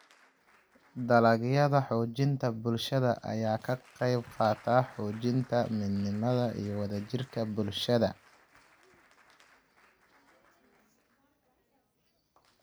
Dalagyada Xoojinta Bulshada ayaa ka qayb qaata xoojinta midnimada iyo wadajirka bulshada.